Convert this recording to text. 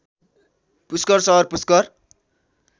पुस्कर सहर पुस्कर